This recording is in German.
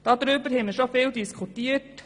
Darüber haben wir schon viel diskutiert;